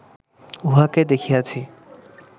উহাকে দেখিয়াছি